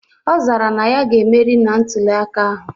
Ọ zara na ya ge-emeri na ntuli aka ahụ.